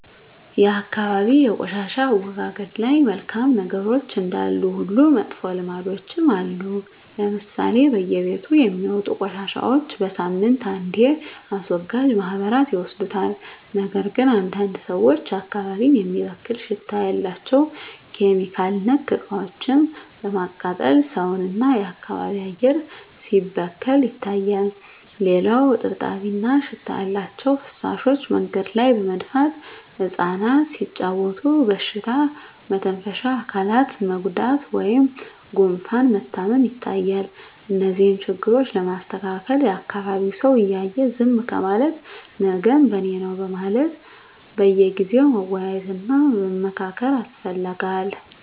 የአካባቢ የቆሻሻ አወጋገድ ላይ መልካም ነገሮች እንዳሉ ሁሉ መጥፎ ልምዶችም አሉ ለምሳሌ በየቤቱ የሚወጡ ቆሻሻዎች በሳምንት አንዴ አስወጋጅ ማህበራት ይወስዱታል ነገር ግን አንዳንድ ሰዎች አካባቢን የሚበክል ሽታ ያላቸው (ኬሚካል)ነክ እቃዎችን በማቃጠል ሰውን እና የአካባቢ አየር ሲበከል ይታያል። ሌላው እጥብጣቢ እና ሽታ ያላቸው ፍሳሾች መንገድ ላይ በመድፋት እፃናት ሲጫዎቱ በሽታ መተንፈሻ አካላት መጎዳት ወይም ጉፋን መታመም ይታያል። እነዚህን ችግሮች ለማስተካከል የአካቢዉ ሰው እያየ ዝም ከማለት ነገም በኔነው በማለት በየጊዜው መወያየት እና መመካከር ያስፈልጋል።